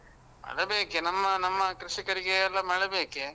ಮಳೆ ಬೇಕೆ, ನಮ್ಮ ನಮ್ಮ ಕೃಷಿಕರಿಗೆ ಎಲ್ಲ ಮಳೆ ಬೇಕೆ.